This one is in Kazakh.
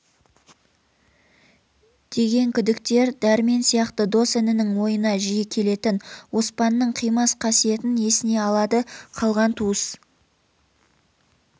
деген күдіктер дәрмен сиякты дос інінің ойына жиі келетін оспанның қимас қасиетін есіне алады қалған туыс